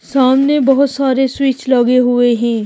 सामने बहुत सारे स्विच लगे हुए हैं।